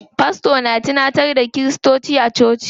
Fasto na tunantar da kiristoci a coci.